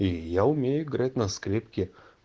и я умею играть на скрипке